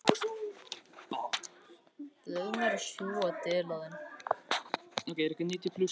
Fyrst verð ég að fyrirgefa sjálfum mér.